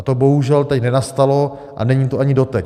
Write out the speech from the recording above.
A to bohužel teď nenastalo a není to ani doteď.